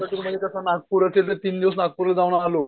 नागपूर तीन दिवस नागपूरला जाऊन आलो.